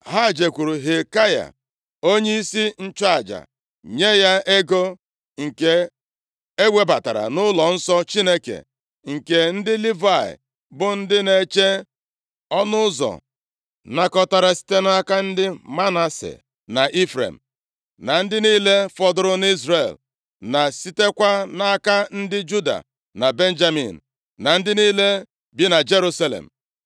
Ha jekwuru Hilkaya onyeisi nchụaja nye ya ego nke e webatara nʼụlọnsọ Chineke, nke ndị Livayị bụ ndị na-eche ọnụ ụzọ nakọtara site nʼaka ndị Manase na Ifrem, na ndị niile fọdụrụ nʼIzrel, na sitekwa nʼaka ndị Juda na Benjamin, na ndị niile bi na Jerusalem.